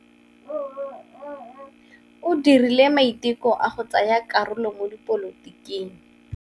O dirile maitekô a go tsaya karolo mo dipolotiking.